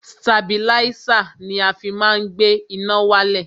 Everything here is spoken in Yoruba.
Stabilísà ni a fi má ń gbé iná wálẹ̀.